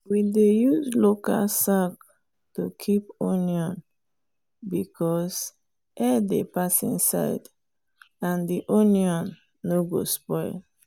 we dey use local sack to keep onion because air dey pass inside and di onion no go spoil.